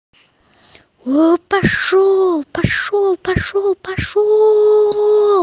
о пошёл пошёл пошёл пошёл